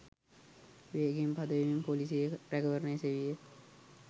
වේගයෙන් පදවමින් පොලිසියේ රැකවරණය සෙවීය.